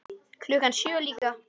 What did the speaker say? Klukkan sjö líka.